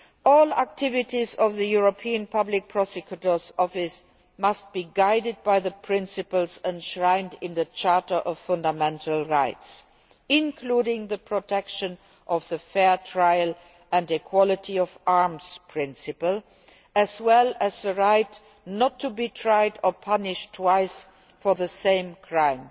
All activities of the European Public Prosecutor's Office must be guided by the principles enshrined in the Charter of Fundamental Rights, including the protection of a fair trial and the equality of arms principle, as well as the right not to be tried or punished twice for the same crime